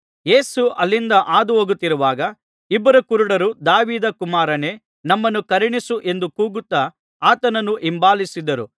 ಯೇಸು ಅಲ್ಲಿಂದ ಹಾದುಹೋಗುತ್ತಿರುವಾಗ ಇಬ್ಬರು ಕುರುಡರು ದಾವೀದ ಕುಮಾರನೇ ನಮ್ಮನ್ನು ಕರುಣಿಸು ಎಂದು ಕೂಗುತ್ತಾ ಆತನನ್ನು ಹಿಂಬಾಲಿಸಿದರು